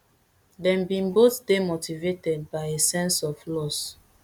dey bin both dey motivated by a sense of loss